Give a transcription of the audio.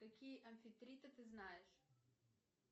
какие амфитриты ты знаешь